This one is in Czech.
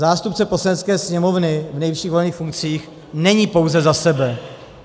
Zástupce Poslanecké sněmovny v nejvyšších volených funkcích není pouze za sebe.